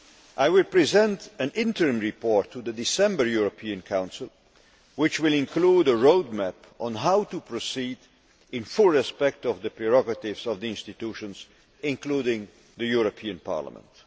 I will present an interim report to the December European Council, which will include a roadmap on how to proceed while fully respecting the prerogatives of the institutions, including the European Parliament.